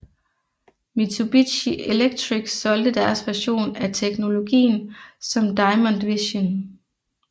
Mitsubishi Electric solgte deres version af teknologien som Diamond Vision